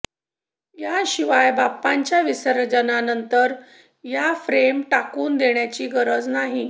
याशिवाय बाप्पाच्या विसर्जनानंतर या फ्रेम टाकून देण्याची गरज नाही